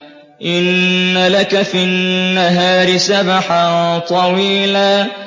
إِنَّ لَكَ فِي النَّهَارِ سَبْحًا طَوِيلًا